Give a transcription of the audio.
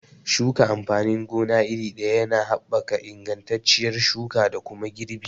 Shuka amfanin gona iri ɗaya yana haɓaka ingantacciyar shuka da kuma girbi